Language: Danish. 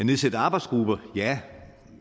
nedsætte arbejdsgrupper ja